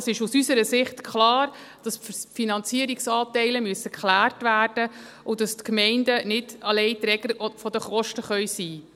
Es ist aus unserer Sicht klar, dass die Finanzierungsanteile geklärt werden müssen und dass die Gemeinden nicht alleinige Träger der Kosten sein können.